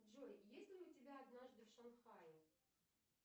джой есть ли у тебя однажды в шанхае